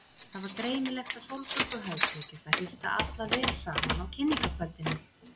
Það var greinilegt að Sólborgu hafði tekist að hrista alla vel saman á kynningarkvöldinu.